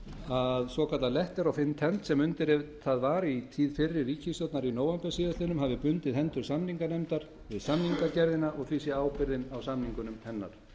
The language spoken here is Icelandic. að svokallað letter of intent sem undirritað var í tíð fyrri ríkisstjórnar í nóvember síðastliðnum hafi bundið hendur samninganefndar við samnings gerðina og því sé ábyrgðin á samninga um hennar